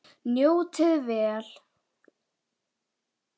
Njótið vel!